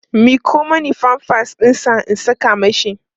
miƙo Mani pampers ɗinsa in Saka mashi